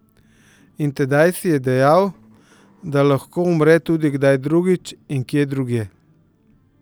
In tedaj si je dejal, da lahko umre tudi kdaj drugič in kje drugje.